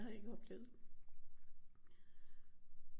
Har ikke oplevet det